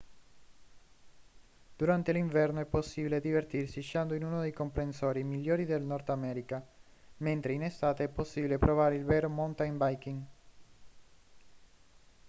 durante l'inverno è possibile divertirsi sciando in uno dei comprensori migliori del nord america mentre in estate è possibile provare il vero mountain biking